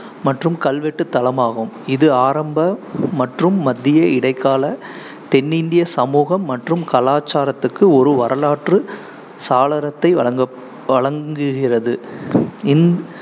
மற்றும் கல்வெட்டு தளமாகும், இது ஆரம்ப மற்றும் மத்திய இடைக்கால தென்னிந்திய சமூகம் மற்றும் கலாச்சாரத்துக்கு ஒரு வரலாற்று சாளரத்தை வழங்க~ வழங்குகிறது. இந்~